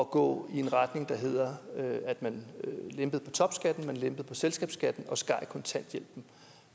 gå i en retning der hed at man lempede på topskatten lempede på selskabsskatten og skar ned kontanthjælpen